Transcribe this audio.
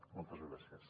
moltes gràcies